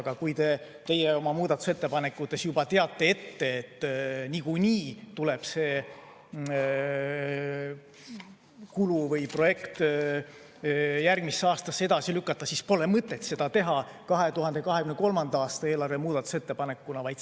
Aga kui teie oma muudatusettepanekute korral juba teate ette, et niikuinii tuleb see kulu või projekt järgmisse aastasse edasi lükata, siis pole mõtet seda teha 2023. aasta eelarve muutmise ettepanekuna.